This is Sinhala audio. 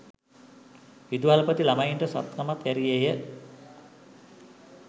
විදුහල්පති ළමයින්ට සත්තමක් ඇරියේය